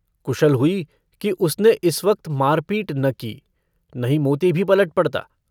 कुशल हुई कि उसने इस वक्त मारपीट न की नहीं मोती भी पलट पड़ता।